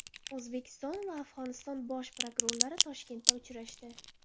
O‘zbekiston va Afg‘oniston bosh prokurorlari Toshkentda uchrashdi.